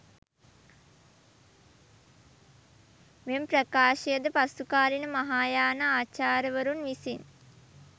මෙම ප්‍රකාශයද පසුකාලීන මහායාන ආචාර්යවරුන් විසින්